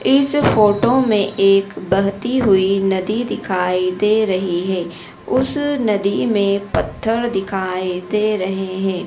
इस फोटो में एक बहती हुई नदी दिखाई दे रही है। उस नदी में पत्थर दिखाई दे रहे हैं।